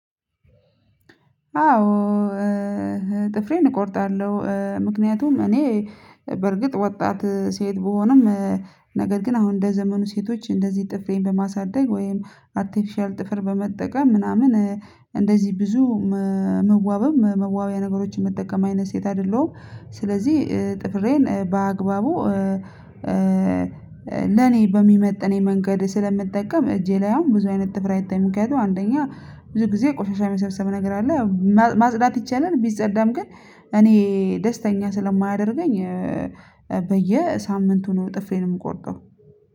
አዎ ጥፍሬን እቆርጣለሁ፤ ምክንያቱም እኔ በርግጥ ወጣት ሴት ቢሆንም ነገር ግን አሁን እንደ ዘመኑ ሴቶች እንደዚህ ጥፍሬን በማሳደግ፤ ወይም አርቴፊሻል ጥፍር በመጠቀም፤ ምናምን እንደዚህ ብዙ መዋበም መዋቢያ ነገሮችን መጠቀም አይነት ሴት አይደለሁም። ስለዚህ ጥፍሬን በአግባቡ ለኔ በሚመጥን የመንገድ ስለምጠቀም፤ እጄ ላይ አሁን ብዙ አይነት ጥፍር አይታይም። የሚክንያቱም አንደኛ ብዙ ጊዜ ቆሻሻ የሚሰብሰብ ነገር አለ ማጽዳት ይቻላል ቢጸዳም ግን እኔ ደስተኛ ስለማያደርገኝ እኔ በሳምንቱ ነው ጥፍሬን የሜቆርጠው።